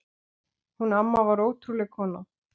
Hún amma var ótrúleg kona.